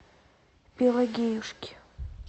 пелагеюшки